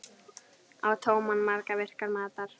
Á tóman maga virkar matar